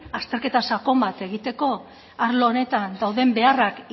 azterketa sakon bat egiteko arlo honetan dauden beharrak